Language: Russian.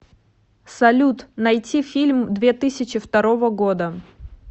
салют найти фильм две тысячи второго года